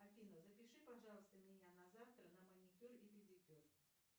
афина запиши пожалуйста меня на завтра на маникюр и педикюр